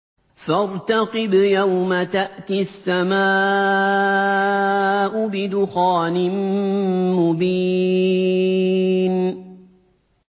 فَارْتَقِبْ يَوْمَ تَأْتِي السَّمَاءُ بِدُخَانٍ مُّبِينٍ